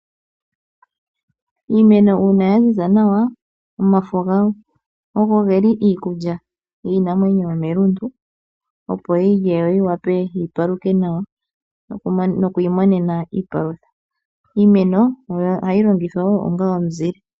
Iimeno uuna yaziza nawa omafo gayo ogo geli iikulya yiinamwenyo yomelundu opo yi lye yo yivule yipaluke nawa nokwiimonena iipalutha. Iimeno ohayi longithwa onga omuzile.